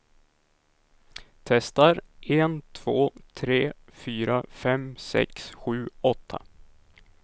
Testar en två tre fyra fem sex sju åtta.